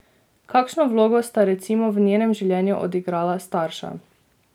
Kakšno vlogo sta recimo v njenem življenju odigrala starša?